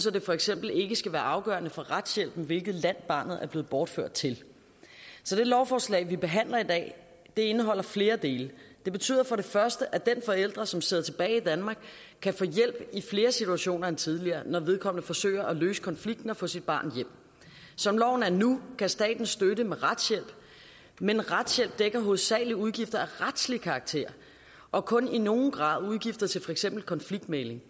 at det for eksempel ikke skal være afgørende for retshjælpen hvilket land barnet er blevet bortført til det lovforslag vi behandler i dag indeholder flere dele det betyder for det første at den forælder som sidder tilbage i danmark kan få hjælp i flere situationer end tidligere når vedkommende forsøger at løse konflikten og få sit barn hjem som loven er nu kan staten støtte med retshjælp men retshjælp dækker hovedsagelig udgifter af retslig karakter og kun i nogen grad udgifter til for eksempel konfliktmægling